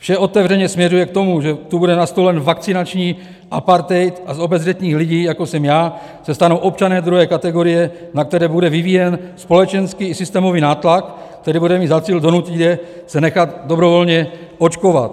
Vše otevřeně směřuje k tomu, že tu bude nastolen vakcinační apartheid a z obezřetných lidí, jako jsem já, se stanou občané druhé kategorie, na které bude vyvíjen společenský i systémový nátlak, který bude mít za cíl donutit je se nechat dobrovolně očkovat.